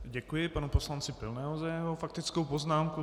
Děkuji panu poslanci Pilnému za jeho faktickou poznámku.